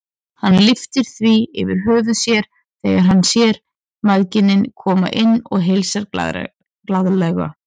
Hann lyftir því yfir höfuð sér þegar hann sér mæðginin koma inn og heilsar glaðlega.